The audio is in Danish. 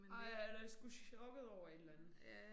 Nej han er sgu chokket over et eller andet